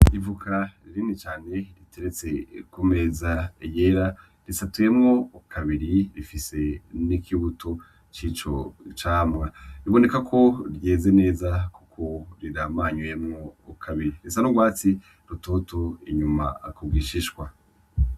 Ivoka rinini cane riteretse ku meza yera risatuyemwo kabiri rifise n'ikibuto cico camwa biboneka yuko ryeze neza kuko riramanyuyemwo kabiri risa n'urwatsi rutoto inyuma ku gishishwa.